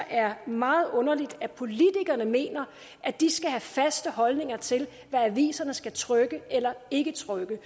er meget underligt at politikere mener at de skal have faste holdninger til hvad aviserne skal trykke eller ikke trykke